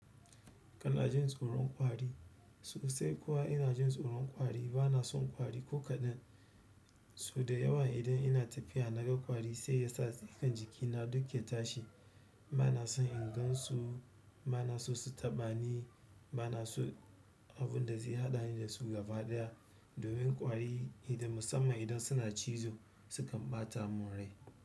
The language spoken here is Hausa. Kala jin tsoron kwari. Sosai kuwa ina jin tsoron kwari bana son kwari ko kaɗan. So da yawa idan ina tafiya naga kwari sai ya sa tsikan jikina duk ya tashi. Bana son in gansu, bana so su taɓa ni, bana so abun da zai haɗani da su gaba ɗaya. Domin kwari idan musamman idan suna cizo sukan ɓata mun rai.